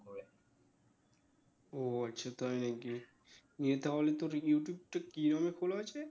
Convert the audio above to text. ও আচ্ছা তাই নাকি নিয়ে তাহলে তোর ইউটিউব টা কি নামে খোলা আছে?